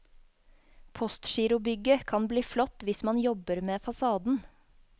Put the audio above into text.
Postgirobygget kan bli flott hvis man jobber med fasaden.